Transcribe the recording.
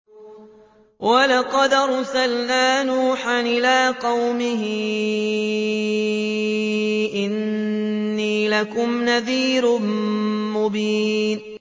وَلَقَدْ أَرْسَلْنَا نُوحًا إِلَىٰ قَوْمِهِ إِنِّي لَكُمْ نَذِيرٌ مُّبِينٌ